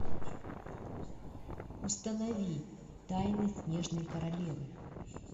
установи тайны снежной королевы